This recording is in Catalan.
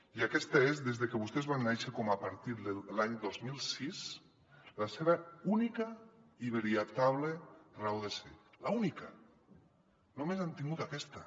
i aquesta és des de que vostès van néixer com a partit l’any dos mil sis la seva única i veritable raó de ser l’única només han tingut aquesta